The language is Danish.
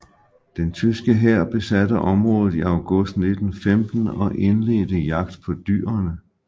Den tyske hær besatte området i august 1915 og indledte jagt på dyrene